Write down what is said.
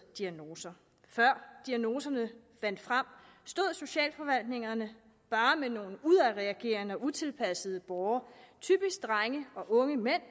diagnoser før diagnoserne vandt frem stod socialforvaltningerne bare med nogle udadreagerende og utilpassede borgere typisk drenge og unge mænd